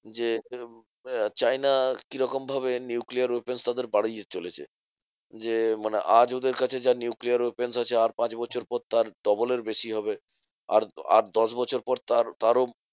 যে চায়না কিরকম ভাবে nuclear weapons তাদের বাড়িয়ে চলেছে। যে মানে আজ ওদের কাছে যা nuclear weapons আছে আর পাঁচ বছর পর তার double এর বেশি হবে। আর আর দশ বছর পর তার~ তারও